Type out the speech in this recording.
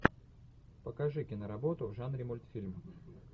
покажи киноработу в жанре мультфильм